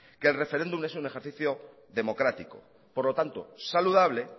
que el referéndum es un ejercicio democrático por lo tanto saludable